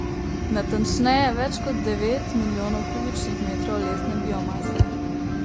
Natančneje, več kot devet milijonov kubičnih metrov lesne biomase.